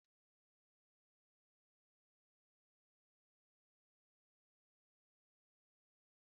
Nri kacha amasị Mark bụ nnukwu efere ji asụru asụ́ na ofe egusi.